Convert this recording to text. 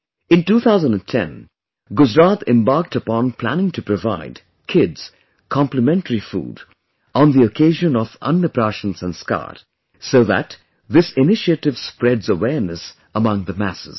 In 2010, Gujarat embarked upon planning to provide kids complimentary food on the occasion of 'Ann Praashan Sanskar' so that this initiative spreads awareness among the masses